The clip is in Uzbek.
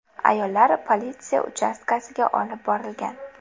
Ayollar politsiya uchastkasiga olib borilgan.